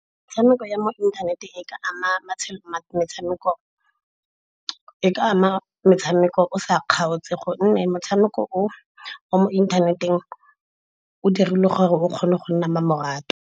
Metshameko ya mo inthaneteng e ka ama metshameko o sa kgaotse gonne motshameko o wa mo inthaneteng o dirilwe gore o kgone go nna mmamoratwa.